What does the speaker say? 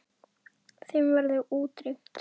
Þeim verður útrýmt.